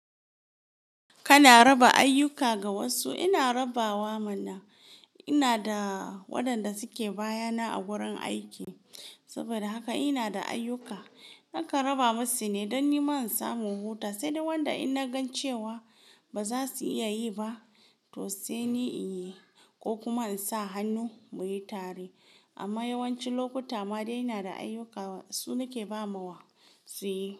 Kana raba ayyuka ga wasu. Ina rabawa mana, ina da waɗanda suke bayana a wurin aiki. Saboda haka ina da ayyuka nakan raba masu ne don nima in samu huta, sai dai wanda in na gan cewa ba za su iya yi ba, to sai ni in yi ko kuma in sa hannu muyi tare. Amma yawanci lokuta ma dai ina da ayyuka su nake ba ma wa su yi.